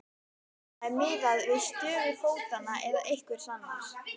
Eða er miðað við stöðu fótanna eða einhvers annars?